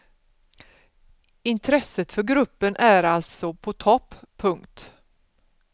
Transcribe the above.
Intresset för gruppen är alltså på topp. punkt